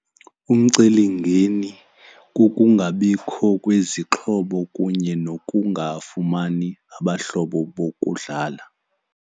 Umcelimngeni kukungabikho kwezixhobo kunye nokungafumani abahlobo bokudlala.